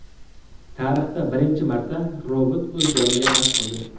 Tarixda birinchi marta robot o‘z joniga qasd qildi.